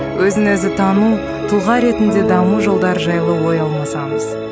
өзін өзі тану тұлға ретінде даму жолдары жайлы ой алмасамыз